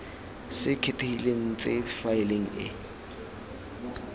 se kgethegileng tse faele e